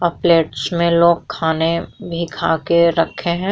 और प्लेट्स में लोग खाने भी खा के रखें हैं।